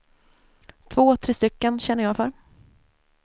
Två, tre stycken känner jag för.